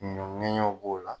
Ɲɔn ŋɛɲɛw b'o la